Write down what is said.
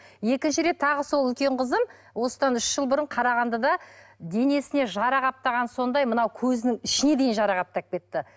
екінші рет тағы сол үлкен қызым осыдан үш жыл бұрын қарағандыда денесіне жара қаптағаны сондай мынау көзінің ішіне дейін жара қаптап кетті